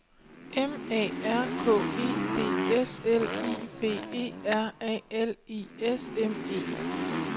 M A R K E D S L I B E R A L I S M E